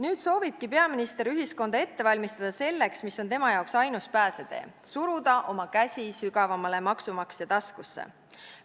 Nüüd soovibki peaminister ühiskonda ette valmistada selleks, mis on tema jaoks ainus pääsetee: suruda oma käsi sügavamale maksumaksja taskusse.